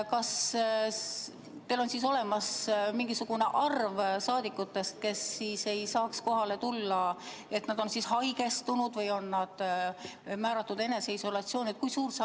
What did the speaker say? Kas teil on olemas mingisugune arv rahvasaadikuid, kes ei saa kohale tulla, sest nad on haigestunud või määratud eneseisolatsiooni?